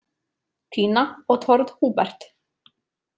Nina og Tord Hubert.